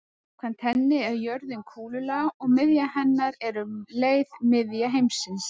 Samkvæmt henni er jörðin kúlulaga og miðja hennar er um leið miðja heimsins.